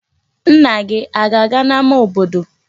Nna gị a ga-aga n'ama obodo?